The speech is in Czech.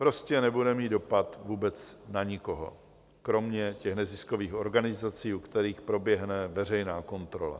Prostě nebude mít dopad vůbec na nikoho, kromě těch neziskových organizací, u kterých proběhne veřejná kontrola.